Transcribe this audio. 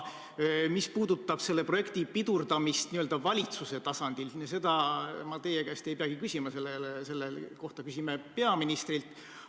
Mis puudutab selle projekti pidurdamist valitsuse tasandil, siis seda ma teie käest ei peagi küsima, selle kohta küsime peaministrilt.